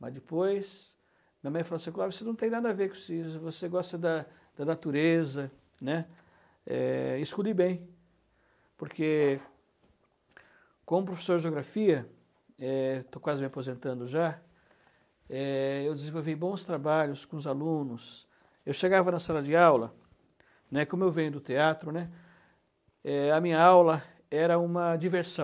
mas depois minha mãe falou assim, Clóvis, você não tem nada a ver com isso, você gosta da da natureza, né, é, escute bem, porque como professor de geografia, é, estou quase me aposentando já, é, eu desenvolvi bons trabalhos com os alunos, eu chegava na sala de aula, né, como eu venho do teatro, né, a minha aula era uma diversão,